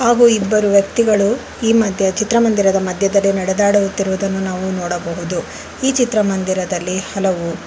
ಹಾಗು ಇಬ್ಬರು ವ್ಯಕ್ತಿಗಳು ಈ ಮದ್ಯ ಚಿತ್ರಮಂದಿರದ ಮಧ್ಯದಲ್ಲಿ ನೆಡೆದಾಡುತ್ತಿರುವುದನ್ನು ನಾವು ನೋಡಬಹುದು ಈ ಚಿತ್ರಮಂದಿರದಲ್ಲಿ ಹಲವು--